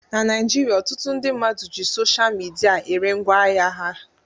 Na Naijiria, ọtụtụ ndị mmadụ ji sosha midia ere ngwaahịa ha